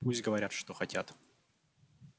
пусть говорят что хотят